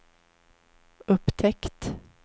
upptäckt